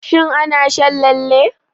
Shin ana shan lalle?